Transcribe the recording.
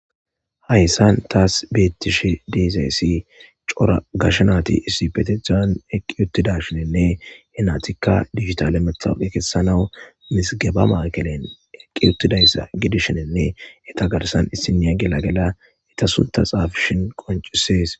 Haysan taas bethishe dizayssi cora gashe naythi issippethettan eqi uthidashininne henathikka digitale metawuqe kesanaaw mizigeba maykelen eqiuthidayssa gidishininne ethagarsan issiniya gelagela etha suntha xaafishe qoncisees.